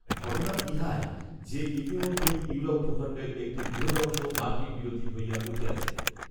ঘটনা ইহাই যে, ‌ইতিমধ্যেই ইউরোপ ভূখণ্ডের একটি বৃহদংশ মার্কিনবিরোধী হইয়া উঠিয়াছে